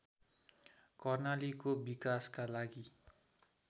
कर्णालीको विकासका लागि